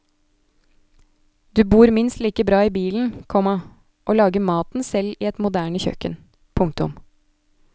Du bor minst like bra i bilen, komma og lager maten selv i et moderne kjøkken. punktum